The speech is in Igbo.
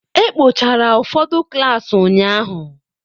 E kpochara ụfọdụ klaasị ụnyahụ.